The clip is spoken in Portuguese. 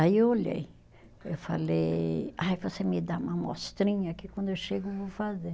Aí eu olhei, eu falei, ai você me dá uma amostrinha que quando eu chego vou fazer.